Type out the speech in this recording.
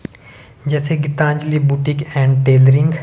जैसे Geetanjali boutique and tailoring --